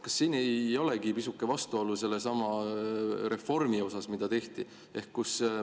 Kas siin ei ole pisuke vastuolu sellesama reformi osas, mida tehti?